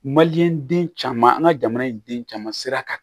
Maliyɛn den caman an ka jamana in den caman sera ka